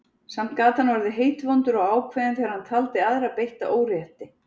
Samt gat hann orðið heitvondur og ákveðinn þegar hann taldi aðra beitta órétti.